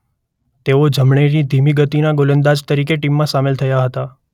તેઓ જમણેરી ધીમી ગતિના ગોલંદાજ તરીકે ટીમમાં સામેલ થયા હતા.